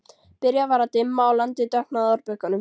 Byrjað var að dimma og landið dökknaði á árbökkunum.